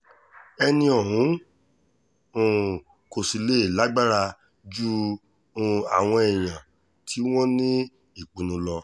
ẹni ọ̀hún um kò sì lè lágbára ju um àwọn èèyàn tí wọ́n ní ìpinnu lọ